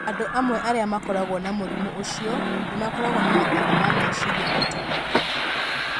Andũ amwe arĩa makoragwo na mũrimũ ũcio nĩ makoragwo na mathĩna ma meciria maita maingĩ.